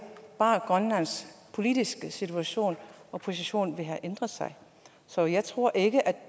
bare grønlands politiske situation og position der vil have ændret sig så jeg tror ikke at